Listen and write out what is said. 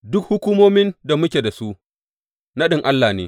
Duk hukumomin da muke su, naɗin Allah ne.